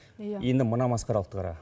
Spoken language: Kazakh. енді мына масқаралықты қара